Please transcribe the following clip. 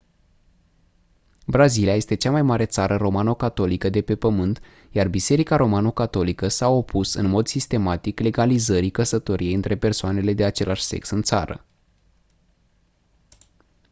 brazilia este cea mai mare țară romano-catolică de pe pământ iar biserica romano-catolică s-a opus în mod sistematic legalizării căsătoriei între persoanele de același sex în țară